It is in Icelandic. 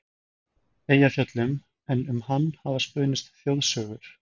Eyjafjöllum, en um hann hafa spunnist þjóðsögur.